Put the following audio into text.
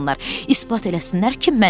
İspat eləsinlər ki, mənəm.